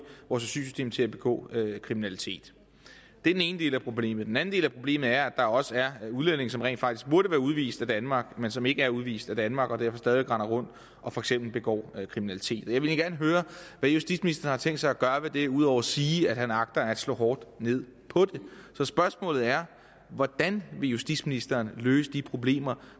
vores asylsystem til at begå kriminalitet det er den ene del af problemet den anden del af problemet er at der også er udlændinge som rent faktisk burde være udvist af danmark men som ikke er udvist af danmark og derfor stadig væk render rundt og for eksempel begår kriminalitet jeg vil egentlig gerne høre hvad justitsministeren har tænkt sig at gøre ved det ud over at sige at han agter at slå hårdt ned på det så spørgsmålet er hvordan vil justitsministeren løse de problemer